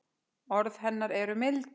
Orð hennar eru mild.